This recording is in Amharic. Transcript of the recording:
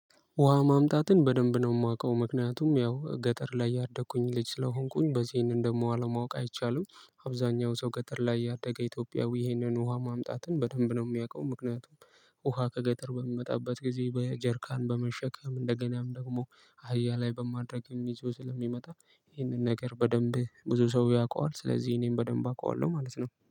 ውሃ ማምጣትን በደንብ ነው የማውቀው ምክንያቱም ያው ገጠር ላይ ያደኩኝ ልጅ ስለሆንኩኝ በዚህን ይሄንን ደግሞ አለማወቅ አይቻልም። አብዛኛው ሰው ገጠር ላይ ያደገ ኢትዮጵያዊ ይህንን ውሃ ማምጣትን በደንብ ነው የሚያውቀው። ምክንያቱም ውሃ ከገጠር በሚመጣበት ጊዜ በጀርካን በመሸከም እንደገናም ደግሞ አህያ ላይ በማድረግም ይዞ ስለሚመጣ ይሄንን ነገር በደንብ ብዙ ሰው ያውቀዋል። ስለዚህ እኔም በደንብ አውቀዋለሁ ማለት ነው